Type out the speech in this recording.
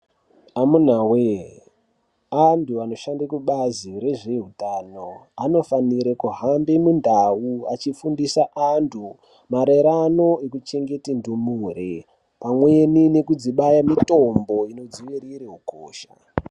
Amunaa wee, anthu anoshande kubazi rezvehutano, anofanire kuhambe mundau, achifundisa anthu marerano nekuchengeta ndumure, pamweni nekudzibaya mitombo inodziirire ukosha.